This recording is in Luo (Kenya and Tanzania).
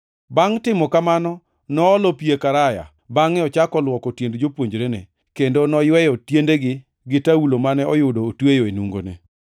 Bangʼ timo kamano, noolo pi e karaya bangʼe ochako luoko tiend jopuonjrene, kendo noyweyo tiendegi gi taulo mane oyudo otweyo e nungone.